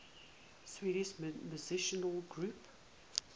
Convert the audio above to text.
swedish musical groups